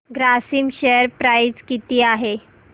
Grasim share price किती आहे